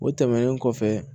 O tɛmɛnen kɔfɛ